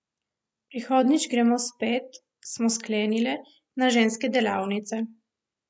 Prihodnjič gremo spet, smo sklenile, na ženske delavnice.